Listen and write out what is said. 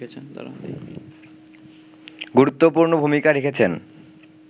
গুরুত্বপূর্ণ ভূমিকা রেখেছেন